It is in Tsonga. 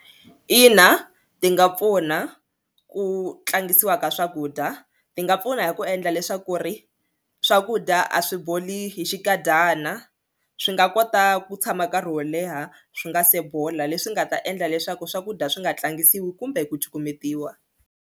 Ina ti nga pfuna ku tlangisiwa ka swakudya ti nga pfuna hi ku endla leswaku ri swakudya a swi boli hi xikadyana swi nga kota ku tshama nkarhi wo leha swi nga se bola leswi nga ta endla leswaku swakudya swi nga tlangisiwi kumbe ku cukumetiwa.